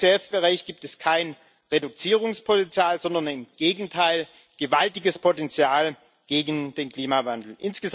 Im LULUCF Bereich gibt es kein Reduzierungspotenzial sondern im Gegenteil gewaltiges Potenzial gegen den Klimawandel.